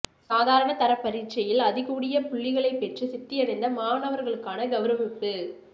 சாதாரண தரப் பரீட்சையில் அதி கூடிய புள்ளிகளைப்பெற்று சித்தியடைந்த மாணவர்களுக்கான கௌரவிப்பு